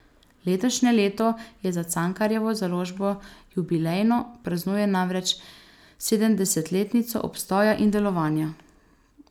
Letošnje leto je za Cankarjevo založbo jubilejno, praznuje namreč sedemdesetletnico obstoja in delovanja.